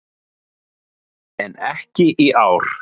En ekki í ár.